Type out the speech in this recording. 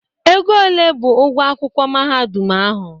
Ego ole bụ ụgwọ akwụkwọ mahadum ahụ?